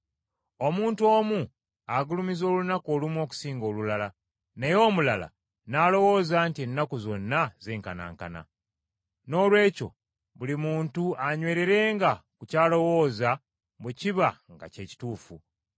Omuntu omu agulumiza olunaku olumu okusinga olulala, naye omulala n’alowooza nti ennaku zonna zenkanankana. Noolwekyo buli muntu anywererenga ku ky’alowooza bwe kiba nga kye kituufu.